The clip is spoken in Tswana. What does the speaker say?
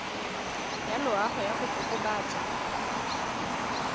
ya loago ya go kokobatsa